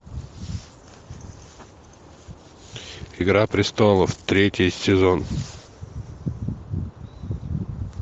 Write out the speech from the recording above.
игра престолов третий сезон